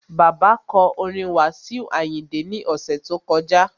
Bàbá kọ orin Wasiu Ayinde ní ọ̀sẹ̀ tó kọjá